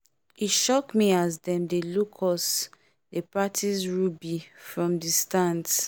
e shock me as them dey look us dey practice rugby from the stands